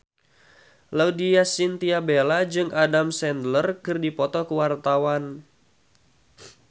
Laudya Chintya Bella jeung Adam Sandler keur dipoto ku wartawan